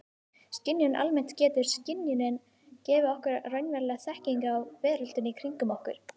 Skynjun almennt Getur skynjunin gefið okkur raunverulega þekkingu á veröldinni kringum okkur?